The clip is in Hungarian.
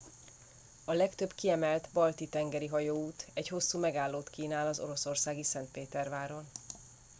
a legtöbb kiemelt balti tengeri hajóút egy hosszú megállót kínál az oroszországi szentpéterváron